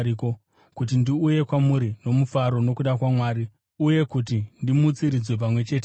kuti ndiuye kwamuri nomufaro nokuda kwaMwari uye kuti ndimutsiridzwe pamwe chete nemi.